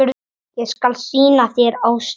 Ég skal sýna þér Ástina.